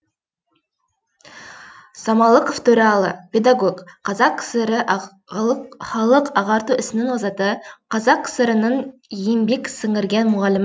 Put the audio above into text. самалықов төралы педагог қазақ кср і халық ағарту ісінің озаты қазақ кср інің еңбек сіңірген мұғалімі